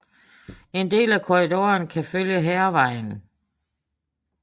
En del af korridoren kan følge Hærvejen